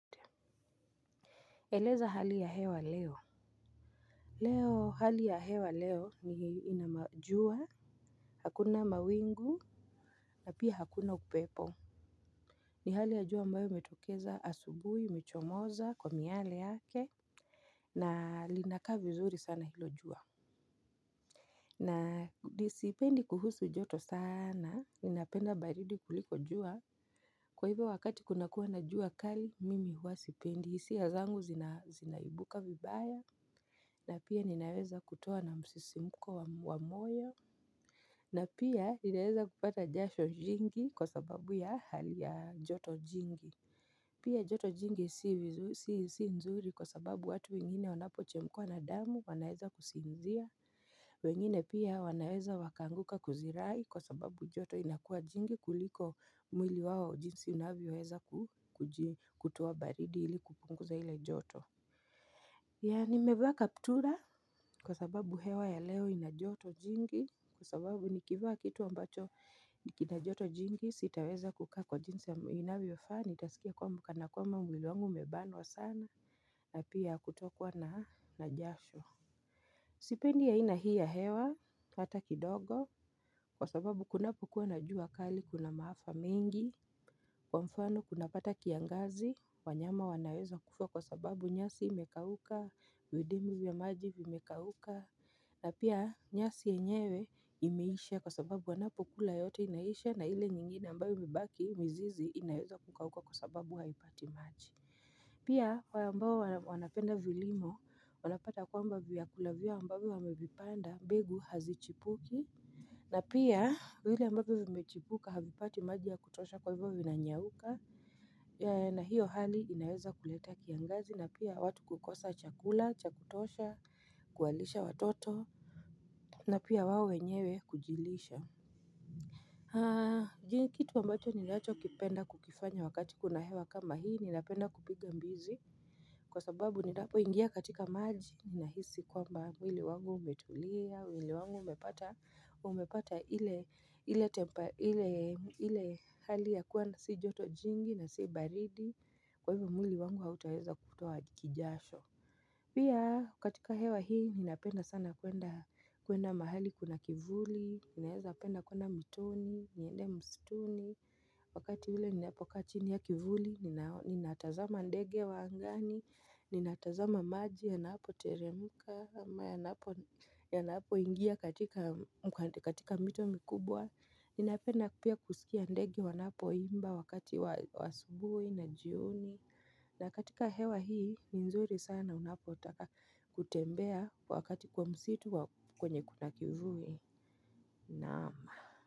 Eleza hali ya hewa leo Leo hali ya hewa leo ni inamajua Hakuna mawingu na pia hakuna upepo ni hali ya jua ambayo imetokeza asubui imechomoza kwa miale yake na linaka vizuri sana hilo jua na disipendi kuhusu joto sana ninapenda baridi kuliko jua Kwa hivo wakati kunakua na jua kali mimi hua sipendi hisia zangu zina zinaibuka vibaya na pia ninaweza kutoa na msisimuko wa moyo na pia ninaweza kupata jasho jingi kwa sababu ya hali ya joto jingi Pia joto jingi si vizu si si nzuri kwa sababu watu wengine wanapoche mkwa na damu wanaeza kusinzia wengine pia wanaweza wakaanguka kuzirai kwa sababu joto inakuwa jingi kuliko mwili wao jinsi unavyoweza ku kuji kutoa baridi ili kupunguza ile joto Yani nimevaa kaptura kwa sababu hewa ya leo inajoto jingi kwa sababu nikivaa kitu ambacho nikinajoto jingi sitaweza kukaa kwa jinsi aminavyofaa nitasikia kua kana kwamba mwiliwangu imebanwa sana napia kutokwa na najasho Sipendi aina hii ya hewa, ata kidogo, kwa sababu kunapokuwa na jua kali kuna maafa mengi Kwa mfano kunapata kiangazi, wanyama wanaweza kufa kwa sababu nyasi imekauka, vidimbwi vya maji vimekauka na pia nyasi yenyewe imeisha kwa sababu wanapokula yote inaisha na ile nyingine ambayo imebaki mizizi inaweza kukauka kwa sababu haipati maji Pia, kwa ambao wana wanapenda vilimo, wanapata kwamba vyakula vyao ambavyo wamevipanda, mbegu hazichipuki. Na pia, vile ambavyo vimechipuka, havipati maji ya kutosha kwa hivyo vinanyauka. Na hio hali inaweza kuleta kiangazi, na pia watu kukosa chakula, chakutosha, kuwalisha watoto, na pia wao wenyewe kujilisha. Haa, ji kitu ambacho ninacho kipenda kukifanya wakati kuna hewa kama hii, ninapenda kupiga mbizi Kwa sababu ninapo ingia katika maji, ninahisi kwamba mwili wangu umetulia, mwili wangu umepata umepata ile ile tempa ile ile hali ya kuwa si joto jingi na si baridi Kwa hivyo mwili wangu hautaweza kutoa kijasho Pia, katika hewa hii, ninapenda sana kuenda kuenda mahali kuna kivuli, ninaeza penda kuenda mitoni, niende mstuni Wakati ule ninapokaa chini ya kivuli, ninao ninatazama ndege wa angani, ninatazama maji, yanapo teremka, ama yanapo yanapo ingia katika katika mito mikubwa Ninapenda pia kusikia ndege wanapo imba wakati wa asubuhi na jioni na katika hewa hii, nzuri sana unapotaka kutembea wakati kwa msitu au kwenye kuna kivui. Nam.